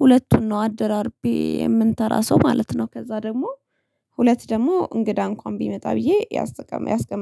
ሁለቱን ነው አደራርቤ የምንተራሰው ማለት ነው። ከዛ ደግሞ ሁለት ደግሞ እንግዳ እንኳን ቢመጣ ብዬ ያስተቀ ያስቀመጥኩት